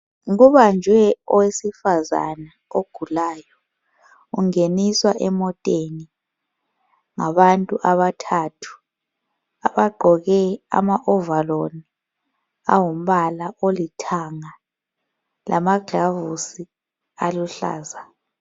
Kubanjwe owesifazana ogulayo, ungeniswa emoteni ngabantu abathathu abagqoke ama overall angumbala olithanga lamagilovisi aluhlaza.